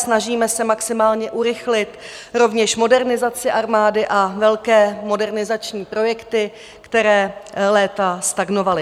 Snažíme se maximálně urychlit rovněž modernizaci armády a velké modernizační projekty, které léta stagnovaly.